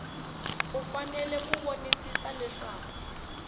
u fanele ku vonisisa leswaku